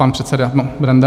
Pan předseda Benda.